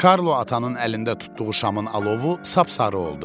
Karlo atanın əlində tutduğu şamın alovu sapsarı oldu.